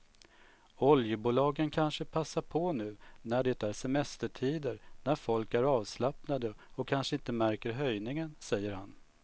Oljebolagen kanske passar på nu när det är semestertider när folk är avslappnade och kanske inte märker höjningen, säger han.